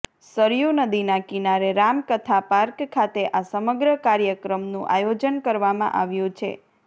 સરયૂ નદીના કિનારે રામકથા પાર્ક ખાતે આ સમગ્ર કાર્યક્રમનું આયોજન કરવામાં આવ્યું છે